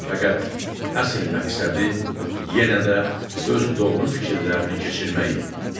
Fəqət əsl məqsədi yenə də öz doğru fikirlərini keçirmək idi.